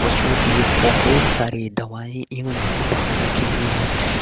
पशुओं के लिए बहोत सारी दवायें एवं उपहार रखे हुए हैं।